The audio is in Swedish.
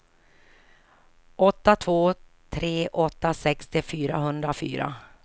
åtta två tre åtta sextio fyrahundrafyra